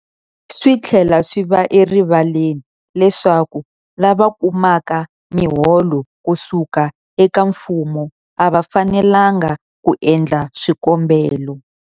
Swi tlhela swi va erivaleni leswaku lava kumaka miholo ku suka eka mfumo a va fanelanga ku endla swikombelo.